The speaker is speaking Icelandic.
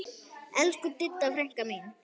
Elsku Didda frænka mín.